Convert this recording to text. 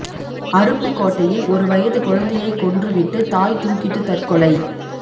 அருப்புக்கோட்டையில் ஒரு வயது குழந்தையைக் கொன்று விட்டு தாய் தூக்கிட்டுத் தற்கொலை